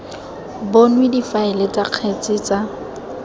bonwe difaele tsa kgetse tsa